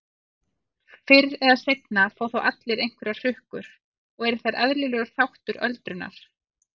Fyrr eða seinna fá þó allir einhverjar hrukkur og eru þær eðlilegur þáttur öldrunar.